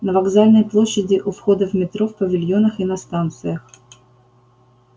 на вокзальной площади у входа в метро в павильонах и на станциях